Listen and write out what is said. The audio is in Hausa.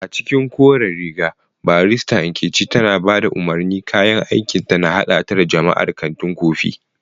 A cikin koren riga, barista Nkechi tana ba da umarni, kayan aikinta na haɗa ta da jama'ar kantin kofi.